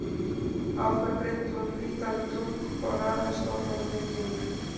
Á það breiddi hún hvítan dúk og raðaði stólum í kring.